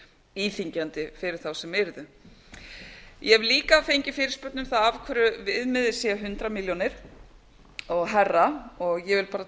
íþyngjandi fyrir þá sem yrðu ég hef líka fengið fyrirspurn um það af hverju viðmiðið sé hundrað milljónir og hærra og ég vil bara